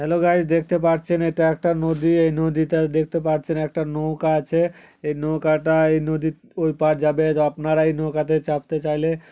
Hello guys দেখতে পারছেন এটা একটা নদী। এই নদীটায় দেখতে পারছেন একটা নৌকা আছে । এই নৌকাটা এই নদীর ঐ পাড় যাবে। যা আপনারা এই নৌকাতে চাপতে চাইলে--